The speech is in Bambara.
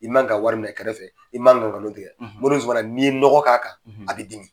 I man ka wari minɛ kɛrɛfɛ i man ka nkalon tigɛ mori Zumana n'i ye nɔgɔ k'a kan a bɛ dimi.